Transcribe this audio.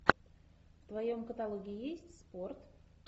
в твоем каталоге есть спорт